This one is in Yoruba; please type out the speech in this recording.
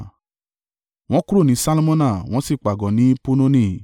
Wọ́n kúrò ní Salmona wọ́n sì pàgọ́ ní Punoni.